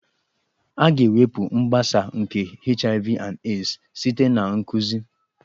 A ga-ewepụ mgbasa nke HIV/AIDS site na nkụzi